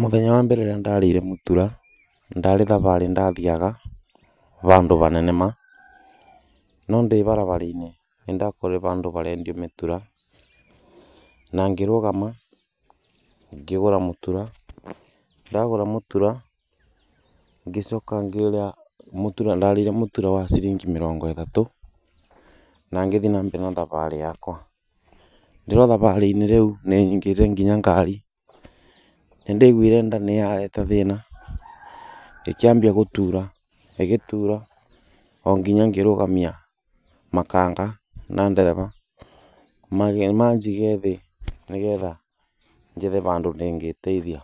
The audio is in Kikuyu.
Mũthenya wa mbere rĩrĩa ndarĩire mũtura ndarĩ thabarĩ ndathiaga bandũ banene ma no ndĩ barabara-inĩ nĩ ndakorire handũ barendio mĩtura na ngĩrugama ngĩgũra mũtura. Ndagũra mũtura ngĩcoka ngĩũrĩa mũtura ndarĩire mũtura wa ciringi mĩrongo ĩtatũ, na ngĩthiĩ na mbere na thabarĩ yakwa. Ndĩrĩ o thabarĩ-inĩ rĩu nĩ nyingĩrire nginya ngari nĩ ndaiguire nda nĩ yarete thĩna ĩkĩambia gũtura ĩgĩtura o nginya ngĩrũgamia makanga na ndereba. manjige thĩ nĩ getha nyone bandũ ingĩteithia.